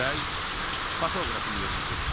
Bəy fotoqrafın yerinə keçir.